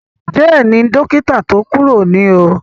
Jay ni dókítà tí o kuro nio